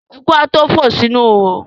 Eku a tó fò sínú ihò.